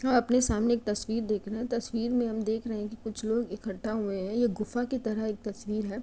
हम अपने सामने एक तस्वीर देख रहे है तस्वीर में हम देख रहे हैं की कुछ लोग इकट्ठा हुए हैं। ये गुफा की तरह एक तस्वीर है।